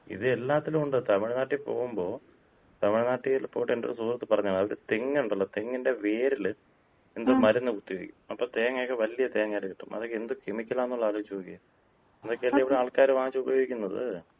ഇത് എല്ലാത്തിലും ഒണ്ട്. തമിഴ്നാട്ടി പോകുമ്പോ തമിഴ്നാട്ടില് പോയിട്ട് എന്‍റെ ഒര് സുഹൃത്ത് പറഞ്ഞതാണ്, അത് തെങ്ങ് ഒണ്ടല്ലോ, തെങ്ങിന്‍റെ വേരില് എന്തോ മരുന്ന് കുത്തിവയ്ക്കും. അപ്പോ തേങ്ങയൊക്കെ വല്യ തേങ്ങായിട്ട് കിട്ടും. അതൊക്കെ എന്ത് കെമിക്കലാണുള്ളത് ആലോചിച്ച് നോക്കിയേ. ഇതൊക്കെയല്ലേ ഇവിടെ ആൾക്കാര് വാങ്ങിച്ചുപയോഗിക്കുന്നത്.